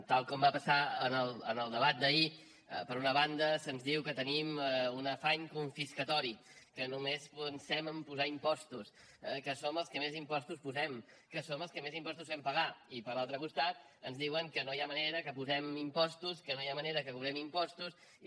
tal com va passar en el debat d’ahir per una banda se’ns diu que tenim un afany confiscatori que només pensem a posar impostos que som els que més impostos posem que som els que més impostos fem pagar i per l’altre costat ens diuen que no hi ha manera que posem impostos que no hi ha manera que cobrem impostos i